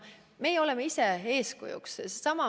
Meie ise oleme eeskujuks.